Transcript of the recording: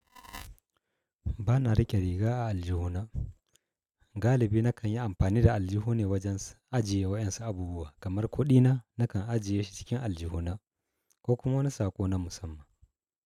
Ba na riƙe riga a aljihuna. Galibi na kan yi amfani da aljihu ne wajen ajiye wa ƴan su abubuwa kamar kuɗina na kan ajiye shi cikin aljihuna ko kuma wani saƙo na musamman.